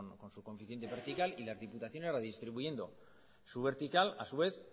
con su coeficiente vertical y las diputaciones redistribuyendo su vertical a su vez